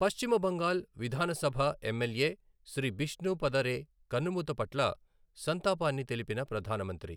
పశ్చిమ బంగాల్ విధానసభఎమ్మెల్యే శ్రీ బిష్ణు పద రే కన్నుమూత పట్ల సంతాపాన్ని తెలిపిన ప్రధాన మంత్రి